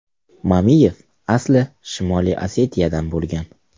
Mamiyev asli Shimoliy Osetiyadan bo‘lgan.